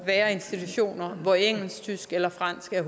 være institutioner hvor engelsk tysk eller fransk er